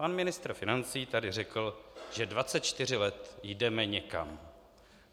Pan ministr financí tady řekl, že 24 let jdeme někam.